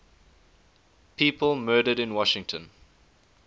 people murdered in washington